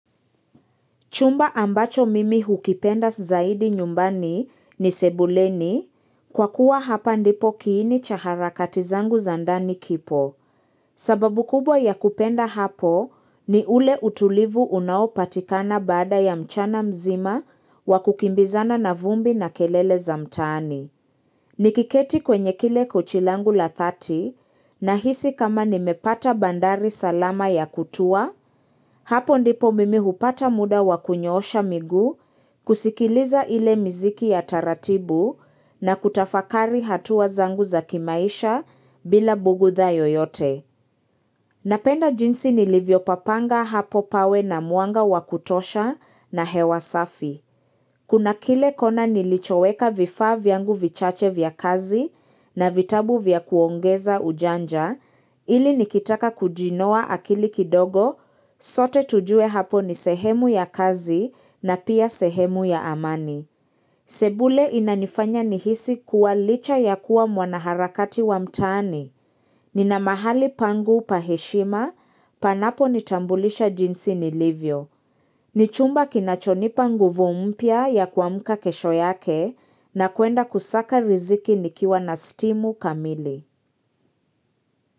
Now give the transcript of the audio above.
Chumba ambacho mimi hukipenda zaidi nyumbani ni sebuleni, kwa kuwa hapa ndipo kiini cha harakati zangu za ndani kipo. Sababu kubwa ya kupenda hapo ni ule utulivu unaopatikana baada ya mchana mzima wakukimbizana na vumbi na kelele za mtani. Nikiketi kwenye kile kuchi langu la dhati nahisi kama nimepata bandari salama ya kutua, hapo ndipo mimi hupata muda wakunyoosha miguu kusikiliza ile miziki ya taratibu na kutafakari hatua zangu za kimaisha bila bugudha yoyote. Napenda jinsi nilivyo papanga hapo pawe na mwanga wa kutosha na hewa safi. Kuna kile kona nilichoweka vifa vyangu vichache vya kazi na vitabu vya kuongeza ujanja, ili nikitaka kujinoa akili kidogo, sote tujue hapo ni sehemu ya kazi na pia sehemu ya amani. Sebule inanifanya nihisi kuwa licha ya kuwa mwanaharakati wa mtani. Nina mahali pangu paheshima, panapo nitambulisha jinsi nilivyo. Nichumba kinachonipa nguvu mpya ya kuamuka kesho yake na kuenda kusaka riziki nikiwa na stimu kamili.